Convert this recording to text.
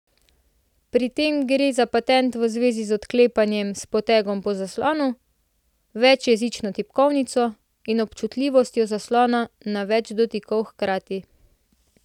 Pri tem gre za patent v zvezi z odklepanjem s potegom po zaslonu, večjezično tipkovnico in občutljivostjo zaslona na več dotikov hkrati.